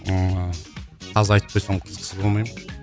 ммм қазір айтып берсем қызықсыз болмай ма